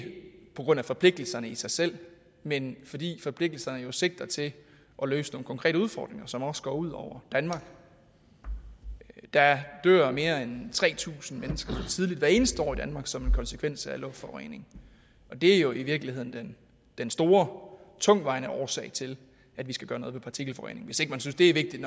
på grund af forpligtelserne i sig selv men fordi forpligtelserne jo sigter til at løse nogle konkrete udfordringer som også går ud over danmark der dør mere end tre tusind mennesker tidligt hvert eneste år i danmark som en konsekvens af luftforureningen og det er jo i virkeligheden den store tungtvejende årsag til at vi skal gøre noget ved partikelforureningen hvis ikke man synes det er vigtigt